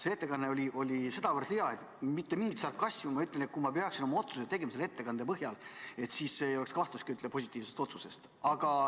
See ettekanne oli sedavõrd hea, et ma ütlen – mitte mingi sarkasmiga –, kui ma peaksin oma otsuse tegema selle ettekande põhjal, siis ei oleks üldse kahtlustki positiivses otsuses.